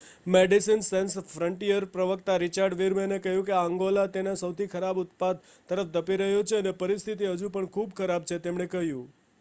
"Médecins Sans ફ્રન્ટિયરના પ્રવક્તા Richard વીરમૅને કહ્યું: "અંગોલા તેના સૌથી ખરાબ ઉત્પાત તરફ ધપી રહ્યો છે અને પરિસ્થિતિ હજુ પણ ખૂબ ખરાબ છે," તેમણે કહ્યું.